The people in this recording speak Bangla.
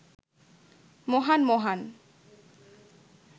মহান মহান